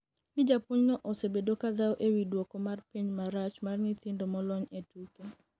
ni japuonj no osebedo kadhawo e wi dwoko mar penj marach mar nyithindo molony e tuke